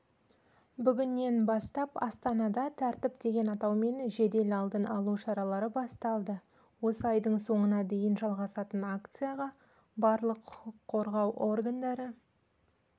бүгіннен бастап астанада тәртіп деген атаумен жедел алдын алу шаралары басталды осы айдың соңына дейін жалғасатын акцияға барлық құқық қорғау органдары